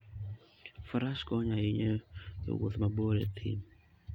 Faras konyo ahinya e wuoth mabor e thim.